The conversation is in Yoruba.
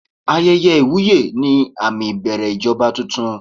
Ayẹyẹ ìwúyè ni àmì ìbẹ̀rẹ̀ ìjọba tuntun.